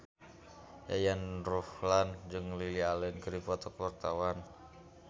Yayan Ruhlan jeung Lily Allen keur dipoto ku wartawan